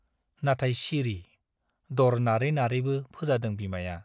नाथाय सिरि , द'र नारै नारैबो फोजादों बिमाया ।